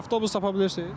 Avtobus tapa bilirsiz?